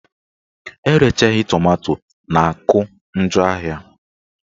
Erechaghị tomanto na-akụ njọ ahịa